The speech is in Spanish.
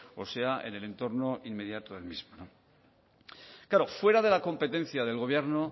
o sea en el entorno inmediato del mismo claro fuera de la competencia del gobierno